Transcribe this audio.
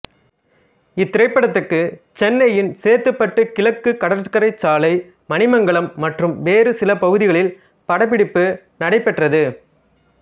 இத்திரைப்படத்துக்கு சென்னையின் சேத்துப்பட்டு கிழக்கு கடற்கரை சாலை மணிமங்கலம் மற்றும் வேறு சில பகுதிகளில் படப்பிடிப்பு நடைபெற்றது